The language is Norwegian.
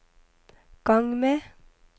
gang med